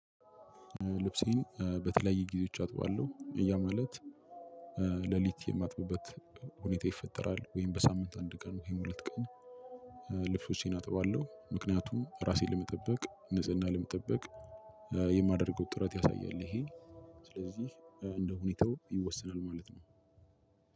ልብሴን በተለያዩ ጊዜዎች አጥበዋለሁ ይህ ማለት ሌሊት የማጥብበት ሁኔታ ይፈጠራል። ወይም በሳምንት አንድ ቀን ወይም ሁለት ቀን ልብሶቼን አጥባለሁ። ምክንያቱም ራሴን ለመጠበቅ ንጽህና ለመጠበቅ የማደርገው ጥረት ያሳያል። ይሄ ስለዚህ እንደ ሁኔታው ይወሰናል ማለት ነው።